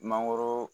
Mangoro